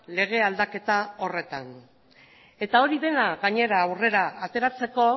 lege aldaketa horretan eta hori dena gainera aurrera ateratzeko